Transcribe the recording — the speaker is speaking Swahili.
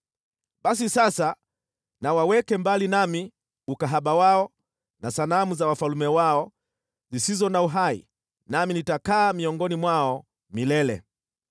Basi sasa na waweke mbali nami ukahaba wao na sanamu za wafalme wao zisizo na uhai, nami nitakaa miongoni mwao milele.